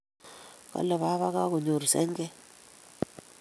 Kole baba kagonyor senget